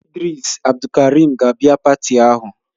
Idris Abdulkarim ga-abịa pati ahụ